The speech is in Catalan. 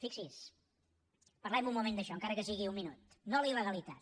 fixi’s parlem un moment d’això encara que sigui un minut no a la il·legalitat